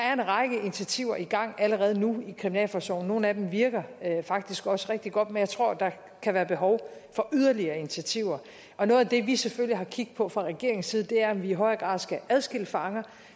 er en række initiativer i gang allerede nu i kriminalforsorgen nogle af dem virker faktisk også rigtig godt men jeg tror der kan være behov for yderligere initiativer noget af det vi selvfølgelig har kig på fra regeringens side er om vi i højere grad skal adskille fanger